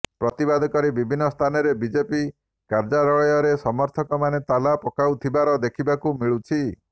ପ୍ରତିବାଦ କରି ବିଭିନ୍ନ ସ୍ଥାନରେ ବିଜେପି କାର୍ଯ୍ୟାଳୟରେ ସମର୍ଥକମାନେ ତାଲା ପକାଉଥିବାର ଦେଖିବାକୁ ମିଳୁଛି